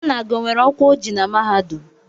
Nna gị o nwere ọkwa o ji na mahadum?